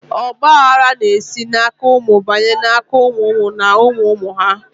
Ọgba aghara na esi na aka ụmụ banye na aka ụmụ ụmụ na ụmụ ụmụ ụmụ ha